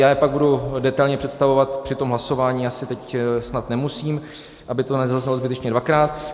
Já je pak budu detailně představovat při tom hlasování, asi teď snad nemusím, aby to nezaznělo zbytečně dvakrát.